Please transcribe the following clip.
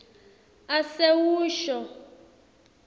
asewusho